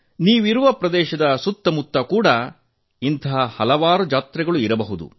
ನೀವು ವಾಸ ಮಾಡುವ ಪ್ರದೇಶದ ಸುತ್ತ ಮುತ್ತ ಕೂಡಾ ಇಂತಹ ಹಲವು ಜಾತ್ರೆಗಳಿರಬಹುದು